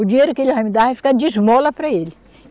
O dinheiro que ele vai me dar vai ficar de esmola para ele.